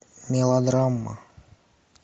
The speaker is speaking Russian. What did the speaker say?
мелодрама